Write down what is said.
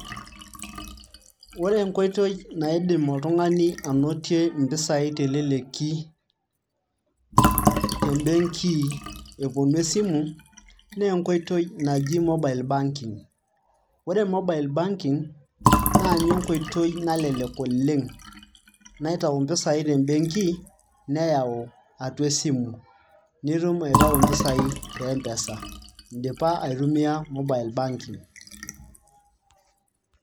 ore enkoitoi naidim oltung'ani anotie impisai teleleki tembenki eponu esimu naa enkoitoi naji mobile banking[ ore mobile banking naa ninye enkoitoi nalelek oleng naitau mpisai tembenki neyau atua esimu nitum aitau impisai te mpesa indipa aitumia mobile banking.